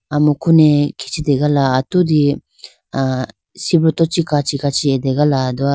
amuku ne khichitegala atudi ah sibruto chee kachi kachi ategalado.